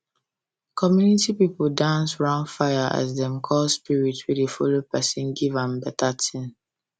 community people dance round fire as dem dey call spirit wey dey follow person give am better thing